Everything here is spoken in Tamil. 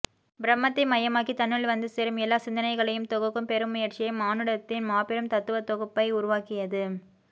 பிரம்மத்தை மையமாக்கி தன்னுள் வந்து சேரும் எல்லா சிந்தனைகளையும் தொகுக்கும் பெருமுயற்சியே மானுடத்தின் மாபெரும் தத்துவத்தொகுப்பை உருவாக்கியது